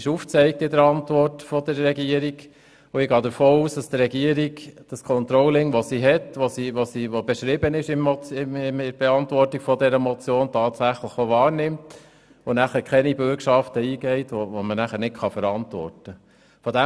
Die Antwort der Regierung zeigt dies auf, und ich gehe davon aus, dass die Regierung das bestehende Controlling, welches in ihrer Antwort auf die Motion beschrieben ist, tatsächlich auch wahrnimmt und keine Bürgschaften eingeht, die nicht zu verantworten sind.